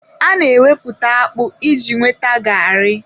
A na-emeputa akpu iji nweta garri.